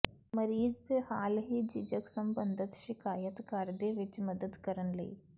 ਮਰੀਜ਼ ਦੇ ਹਾਲ ਹੀ ਝਿਜਕ ਸਬੰਧਤ ਸ਼ਿਕਾਇਤ ਘਰ ਦੇ ਵਿਚ ਮਦਦ ਕਰਨ ਲਈ